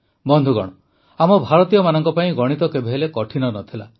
ବନ୍ଧୁଗଣ ଆମ ଭାରତୀୟମାନଙ୍କ ପାଇଁ ଗଣିତ କେବେହେଲେ କଠିନ ନ ଥିଲା